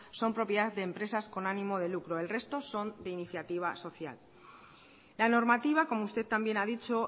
son propiedad de empresas con ánimo de lucro el resto son de iniciativa social la normativa como usted también ha dicho